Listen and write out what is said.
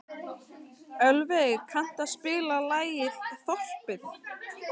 Ölveig, kanntu að spila lagið „Þorpið“?